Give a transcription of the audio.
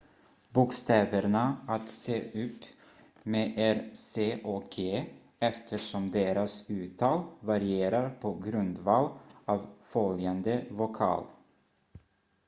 bokstäverna att se upp med är c och g eftersom deras uttal varierar på grundval av följande vokal